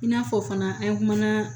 I n'a fɔ fana an kumana